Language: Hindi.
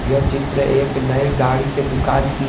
यह चित्र एक नये गाड़ी के दुकान की--